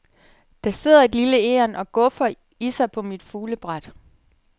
Der sidder et lille egern og guffer i sig på mit fuglebræt.